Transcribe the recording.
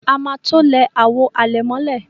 A má to lẹ àwọ̀ alẹ̀mọ́lẹ̀.